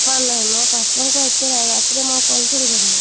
papa ନାହିଁ ମ ପାପା ଏତେ ରାତିରେ ମୁଁ call କରିବି